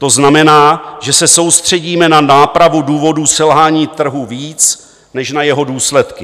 To znamená, že se soustředíme na nápravu důvodů selhání trhu víc než na jeho důsledky.